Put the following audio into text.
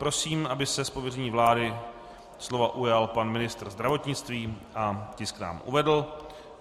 Prosím, aby se z pověření vlády slova ujal pan ministr zdravotnictví a tisk nám uvedl.